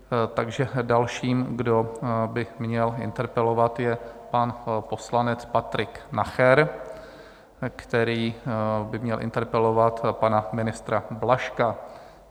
Takže dalším, kdo by měl interpelovat, je pan poslanec Patrik Nacher, který by měl interpelovat pana ministra Blažka.